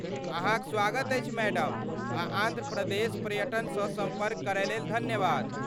अहाँक स्वागत अछि मैडम आ आन्ध्र प्रदेश पर्यटनसँ सम्पर्क करयलेल धन्यवाद।